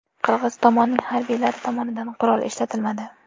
Qirg‘iz tomonning harbiylari tomonidan qurol ishlatilmadi.